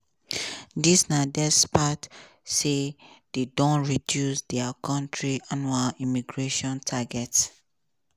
dis na despite say dem don reduce dia kontri annual immigration targets.